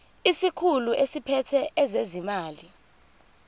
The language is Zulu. isikhulu esiphethe ezezimali